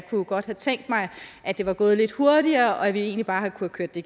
godt have tænkt mig at det var gået lidt hurtigere og at vi egentlig bare havde kunnet køre det